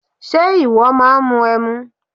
Ṣe ìwọ máà ń mu ẹmu?